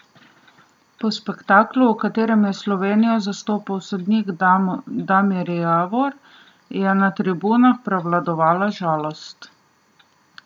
Po spektaklu, v katerem je Slovenijo zastopal sodnik Damir Javor, je na tribunah prevladovala žalost.